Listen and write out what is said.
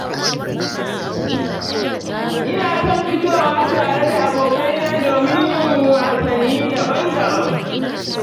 Ina son fitowa tare da abokaina domin yin wasanni daban-daban.